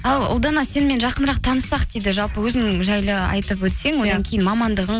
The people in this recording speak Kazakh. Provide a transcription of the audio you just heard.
ал ұлдана сенімен жақынырақ таныссақ дейді жалпы өзің жайлы айтып өтсең одан кейін мамандығың